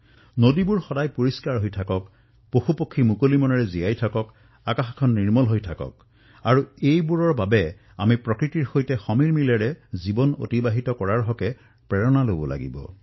নদীসমূহ যাতে সদায় স্বচ্ছ হৈ থাকক পশুপক্ষীসমূহেও যাতে মুক্ত বিচৰণৰ সুবিধা লাভ কৰক আকাশো যাতে স্বচ্ছ হৈ থাকক ইয়াৰ বাবে আমি প্ৰকৃতিৰ সৈতে ভাৰসাম্যতা স্থাপন কৰি জীয়াই থকাৰ প্ৰেৰণা লাভ কৰিব পাৰো